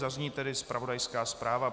Zazní tedy zpravodajská zpráva.